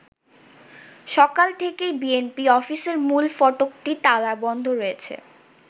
সকাল থেকেই বিএনপি অফিসের মূল ফটকটি তালা বন্ধ রয়েছে।